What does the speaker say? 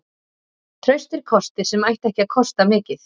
Traustir kostir sem ættu ekki að kosta mikið.